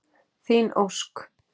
Þín Ósk.